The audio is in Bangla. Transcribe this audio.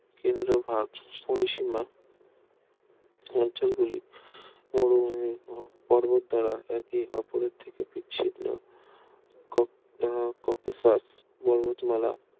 কেন্দ্রভাগ পরিসীমা অঞ্চলগুলি মরুভূমি ও পর্বত দ্বারা একে অপরের থেকে বিচ্ছিন্ন কক আহ ককেশাস পর্বতমালা